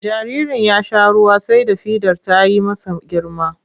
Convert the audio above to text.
Jaririn ya sha ruwa sai da fidar ta yi masa girma.